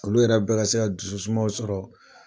Olu yɛrɛ bɛ ka se ka dusu sumaw sɔrɔ.